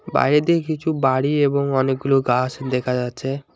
বাইরের দিকে কিছু বাড়ি এবং অনেকগুলো গাছ দেখা যাচ্ছে।